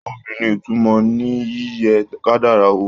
Obì ní ìtumọ̀ ní yíyẹ kádàrá wò.